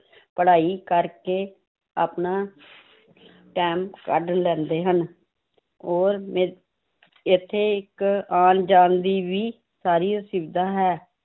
ਪੜ੍ਹਾਈ ਕਰਕੇ ਆਪਣਾ time ਕੱਢ ਲੈਂਦੇ ਹਨ ਉਹ ਇੱਥੇ ਇੱਕ ਆਉਣ ਜਾਣ ਦੀ ਵੀ ਸਾਰੀ ਸੁਵਿਧਾ ਹੈ l